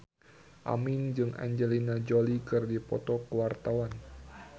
Aming jeung Angelina Jolie keur dipoto ku wartawan